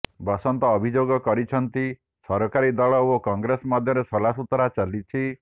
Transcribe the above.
ବସନ୍ତ ଅଭିଯୋଗ କରିଛନ୍ତି ସରକାରୀ ଦଳ ଓ କଂଗ୍ରେସ ମଧ୍ୟରେ ସଲାସୁତୁରା ଚାଲିଛି